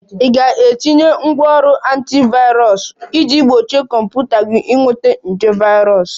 Ị ga-etinye ngwanrọ antivirus iji gbochie kọmputa gị ịnweta nje virus